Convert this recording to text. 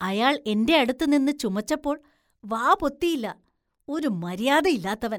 അയാള്‍ എന്റെയടുത്ത് നിന്ന് ചുമച്ചപ്പോള്‍ വാ പൊത്തിയില്ല. ഒരു മര്യാദയില്ലാത്തവന്‍.